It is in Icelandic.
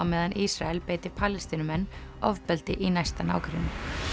meðan Ísrael beiti Palestínumenn ofbeldi í næsta nágrenni